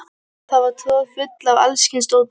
Hún var troðfull af alls kyns dóti.